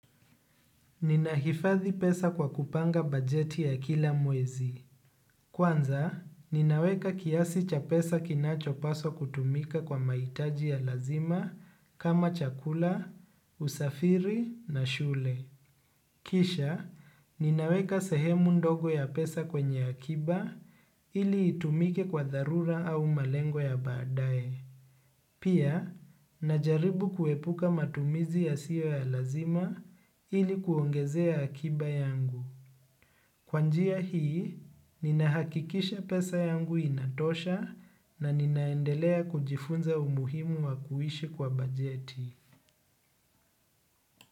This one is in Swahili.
Ninahifadhi pesa kwa kupanga bajeti ya kila mwezi. Kwanza, ninaweka kiasi cha pesa kinachopaswa kutumika kwa mahitaji ya lazima kama chakula, usafiri na shule. Kisha ninaweka sehemu ndogo ya pesa kwenye akiba ili itumike kwa dharura au malengo ya baadaye. Pia, najaribu kuepuka matumizi yasiyo ya lazima ili kuongezea akiba yangu. Kwa njia hii, ninahakikisha pesa yangu inatosha na ninaendelea kujifunza umuhimu wa kuishi kwa bajeti.